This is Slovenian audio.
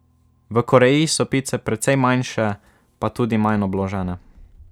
V Koreji so pice precej manjše pa tudi manj obložene.